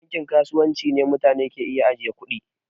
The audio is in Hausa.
Bankin kasuwanci ne mutane ke iya ajiye kuɗi.